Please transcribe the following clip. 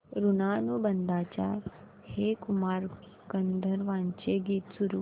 ऋणानुबंधाच्या हे कुमार गंधर्वांचे गीत सुरू कर